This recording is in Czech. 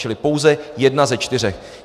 Čili pouze jedna ze čtyř.